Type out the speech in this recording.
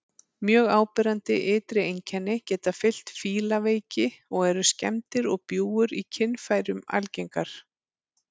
Mjög áberandi ytri einkenni geta fylgt fílaveiki og eru skemmdir og bjúgur í kynfærum algengar.